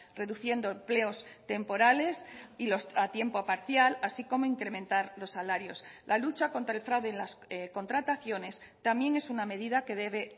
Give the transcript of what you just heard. reduciendo empleos temporales y a tiempo parcial así como incrementar los salarios la lucha contra el fraude en las contrataciones también es una medida que debe